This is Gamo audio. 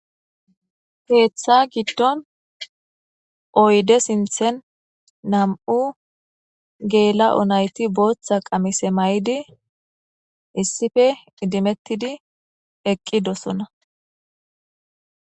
heeththa giddon oyde sinthen nam7u geela7o nayti booththa qamise may7di issife idimettidi eqqi dosona